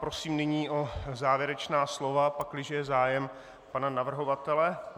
Prosím nyní o závěrečná slova, pakliže je zájem, pana navrhovatele.